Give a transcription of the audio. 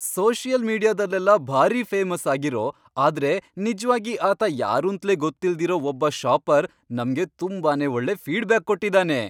Social ಮೀಡಿಯಾದಲ್ಲೆಲ್ಲ ಭಾರೀ famous ಆಗಿರೋ ಆದ್ರೆ ನಿಜ್ವಾಗಿ ಆತ ಯಾರೂಂತ್ಲೇ ಗೊತ್ತಿಲ್ದಿರೋ ಒಬ್ಬ ಷಾಪರ್ ನಮ್ಗೆ ತುಂಬಾನೇ ಒಳ್ಳೆ ಫೀಡ್ಬ್ಯಾಕ್ ಕೊಟ್ಟಿದಾನೆ.